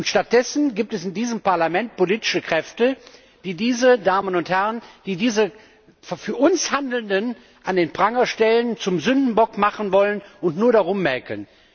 Stattdessen gibt es in diesem Parlament politische Kräfte, die diese Damen und Herren, die diese für uns Handelnden an den Pranger stellen, zum Sündenbock machen wollen und nur rummäkeln.